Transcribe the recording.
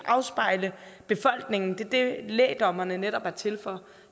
afspejle befolkningen det er det lægdommerne netop er til for